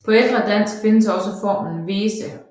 På ældre dansk findes også formen Vese